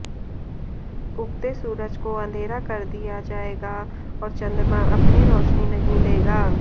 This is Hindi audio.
उगते सूरज को अंधेरा कर दिया जाएगा और चंद्रमा अपनी रोशनी नहीं देगा